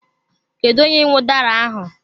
Kedu onye nwe udara ahụ?